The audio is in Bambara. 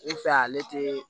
N fɛ ale tɛ